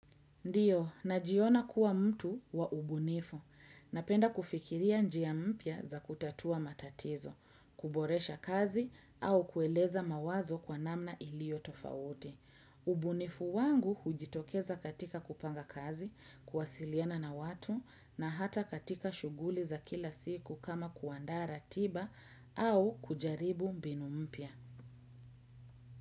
Ndio, najiona kuwa mtu wa ubunifu. Napenda kufikiria njia mpya za kutatua matatizo, kuboresha kazi au kueleza mawazo kwa namna iliyo tofauti. Ubunifu wangu hujitokeza katika kupanga kazi, kuwasiliana na watu na hata katika shughuli za kila siku kama kuandaa ratiba au kujaribu mbinu mpya.